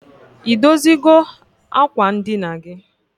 I dozigo akwa ndina gi?